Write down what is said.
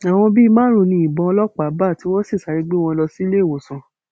àwọn bíi márùnún ni ìbọn ọlọpàá bá tí wọn sì sáré gbé wọn lọ síléèwòsàn